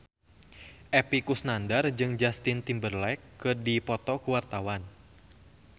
Epy Kusnandar jeung Justin Timberlake keur dipoto ku wartawan